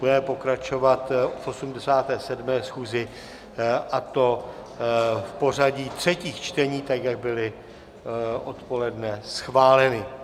Budeme pokračovat v 87. schůzi, a to v pořadí třetích čtení, tak jak bylo odpoledne schváleno.